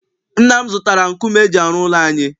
Nna m zụtara nkume eji arụ ụlọ anyị.